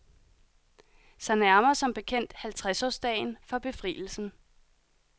Sig nærmer som bekendt halvtredsårsdagen for befrielsen.